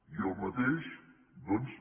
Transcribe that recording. i el mateix doncs